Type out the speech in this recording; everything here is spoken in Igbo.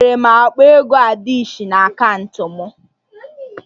Enwere m akpa ego adishị ise na akaụntụ m